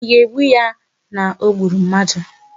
Ị ga-egbu ya na o gburu mmadu!